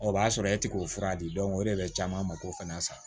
O b'a sɔrɔ e ti k'o fura di o de bɛ caman mako fana sa